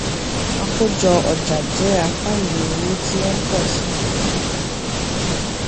àkójọ ọjà jẹ apá ìwé owó tí ó ń pọ sí i